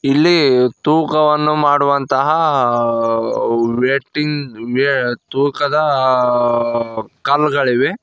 ಇಲ್ಲಿ ತೂಕವನ್ನು ಮಾಡುವಂತಹ ತೂಕದ ಕಲ್ಲು ಗಳಿವೆ.